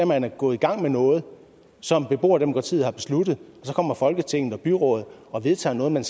man er gået i gang med noget som beboerdemokratiet har besluttet og så kommer folketinget og byrådet og vedtager noget man